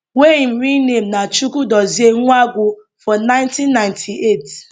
wey im real name na chukwudozie nwangwu for ninety ninety eight